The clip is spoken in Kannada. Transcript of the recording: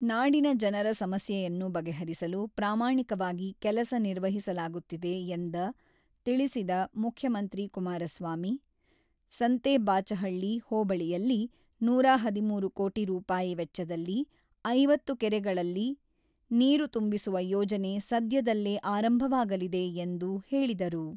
ನಾಡಿನ ಜನರ ಸಮಸ್ಯೆಯನ್ನು ಬಗೆಹರಿಸಲು ಪ್ರಾಮಾಣಿಕವಾಗಿ ಕೆಲಸ ನಿರ್ವಹಿಸಲಾಗುತ್ತಿದೆ ಎಂದ ತಿಳಿಸಿದ ಮುಖ್ಯಮಂತ್ರಿ ಕುಮಾರಸ್ವಾಮಿ, ಸಂತೇಬಾಚಹಳ್ಳಿ ಹೋಬಳಿಯಲ್ಲಿ ನೂರ ಹದಿಮೂರು ಕೋಟಿ ರೂಪಾಯಿ ವೆಚ್ಚದಲ್ಲಿ ಐವತ್ತು ಕೆರೆಗಳಲ್ಲಿ ನೀರು ತುಂಬಿಸುವ ಯೋಜನೆ ಸದ್ಯದಲ್ಲೇ ಆರಂಭವಾಗಲಿದೆ ಎಂದು ಹೇಳಿದರು.